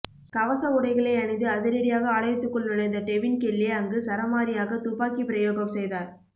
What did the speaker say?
கவச உடைகளை அணிந்து அதிரடியாக ஆலயத்துக்குள் நுழைந்த டெவின் கெல்லே அங்கு சரமாரியாக துப்பாக்கிப்பிரயோகம் செய்தார்